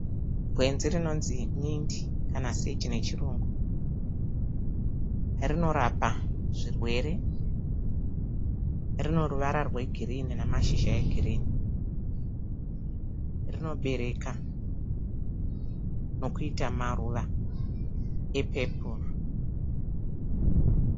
Gwenzi rinonzi mindi kana seji nechirungu. Rinorapa zvirwere, rino ruwara rwe girini nemashizha e girini. Rinobereka nokuita maruwa epepuru.